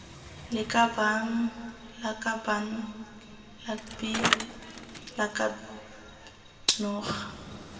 lakabaaan lakaban lakbi lakab noga